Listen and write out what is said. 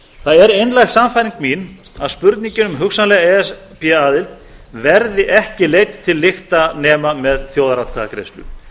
það er einlæg sannfæring mín að spurningin um hugsanlega e s b aðild verði ekki leidd til lykta nema með þjóðaratkvæðagreiðslu